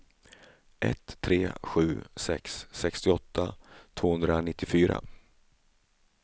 ett tre sju sex sextioåtta tvåhundranittiofyra